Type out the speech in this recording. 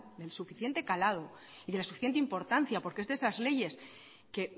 del suficiente calado y de la suficiente importancia porque es una de esas leyes que